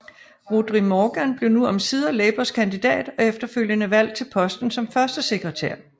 Rhodri Morgan blev nu omsider Labours kandidat og efterfølgende valgt til posten som førstesekretær